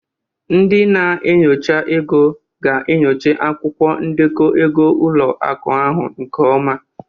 Ndị na-enyocha ego ga-enyocha akwụkwọ ndekọ ego ụlọ akụ ahụ nke ọma.